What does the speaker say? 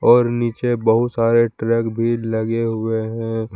और नीचे बहुत सारे ट्रैक भी लगे हुए हैं।